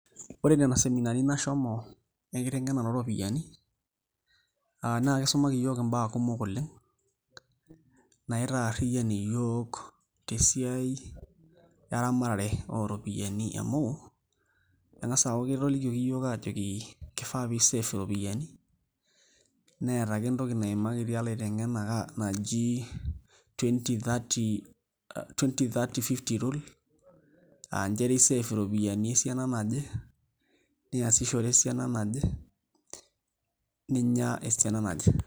Ore nena seminani nashomo enkiteng'enare ooropiyiani naa kisumaki iyiook imbaa sidan oleng' naitaarriyian iyiook te esiai eramatare oo ropiyiani amu eng'as aaku ketolikioki iyiook aajoki kifaa pee isave iropiyiani neeta ake entoki naimakitia ilaiteng'enak naji twenty:thirty:fifty rule aa nchere isave iropiyiani esiana naje niasishore esiana naje ninya esiana naje.